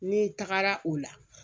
Ne tagara o la